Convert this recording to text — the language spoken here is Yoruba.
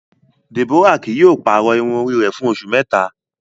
Deborah kii yóò pàrọ irun ori rẹ fun oṣu mẹta